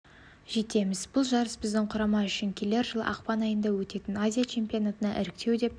жетеміз бұл жарыс біздің құрама үшін келер жылы ақпан айында өтетін азия чемпионатына іріктеу деп